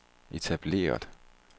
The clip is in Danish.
etableret